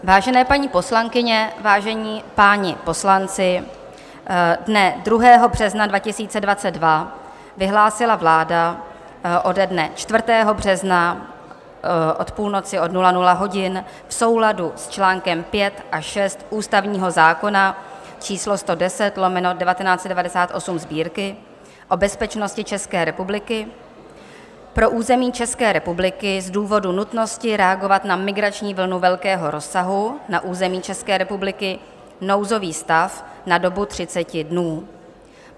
Vážené paní poslankyně, vážení páni poslanci, dne 2. března 2022 vyhlásila vláda ode dne 4. března od půlnoci, od 00.00 hodin, v souladu s článkem 5 a 6 ústavního zákona č. 110/1998 Sb., o bezpečnosti České republiky, pro území České republiky z důvodu nutnosti reagovat na migrační vlnu velkého rozsahu na území České republiky nouzový stav na dobu 30 dnů.